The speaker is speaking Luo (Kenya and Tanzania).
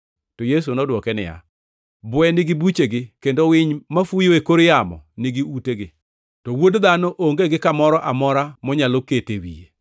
To Yesu nodwoke niya, “Bwe nigi buchegi kendo winy mafuyo e kor yamo nigi utegi, to Wuod Dhano onge gi kamoro amora monyalo kete wiye.”